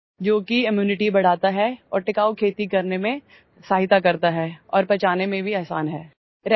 जो की ଇମ୍ୟୁନିଟି बढ़ाता है और टिकाऊखेती करने में सहायता करता है और पचाने में भी आसान है